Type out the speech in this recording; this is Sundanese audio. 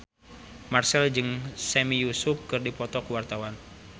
Marchell jeung Sami Yusuf keur dipoto ku wartawan